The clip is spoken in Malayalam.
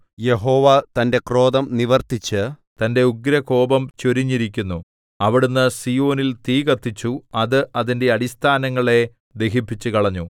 യഹോവ തന്റെ ക്രോധം നിവർത്തിച്ച് തന്റെ ഉഗ്രകോപം ചൊരിഞ്ഞിരിക്കുന്നു അവിടുന്ന് സീയോനിൽ തീ കത്തിച്ചു അത് അതിന്റെ അടിസ്ഥാനങ്ങളെ ദഹിപ്പിച്ചുകളഞ്ഞു